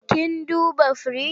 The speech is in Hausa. Kin duba firinji?